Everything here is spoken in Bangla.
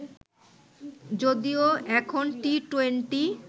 যদিও এখন টি-টোয়েন্টি